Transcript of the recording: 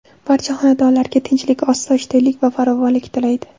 Barcha xonadonlarga tinchlik-osoyishtalik va farovonlik tilaydi.